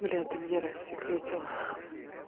бля ты меня рассекретила